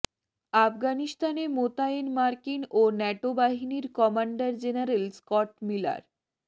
আফগানিস্তানে মোতায়েন মার্কিন ও ন্যাটো বাহিনীর কমান্ডার জেনারেল স্কট মিলার